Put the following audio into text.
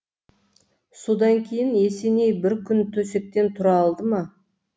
содан кейін есеней бір күн төсектен тұра алды ма